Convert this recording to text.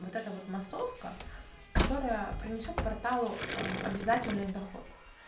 вот это вот массовка которая принесёт порталу обязательный доход